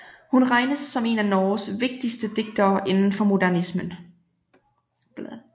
Hun regnes som en af Norges vigtigste digtere indenfor modernismen